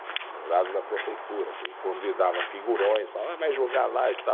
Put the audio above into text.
Jurados da prefeitura, que convidava figurões, ah vai jogar lá e tal.